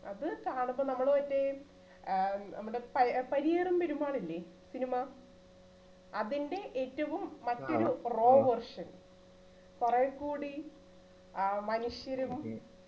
അത് കാണുമ്പോ നമ്മള് മറ്റേ ഏർ നമ്മുടെ ആഹ് നമ്മുടെ പരിയറും പെരുമാളില്ലേ cinema അതിന്റെ ഏറ്റവും മറ്റൊരു raw version കുറേകൂടി ഏർ മനുഷ്യരും